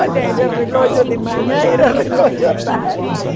Olha, era o relógio de manhã, era o relógio tarde.